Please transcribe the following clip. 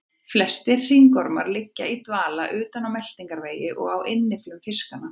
Flestir hringormar liggja í dvala utan á meltingarvegi og á innyflum fiskanna.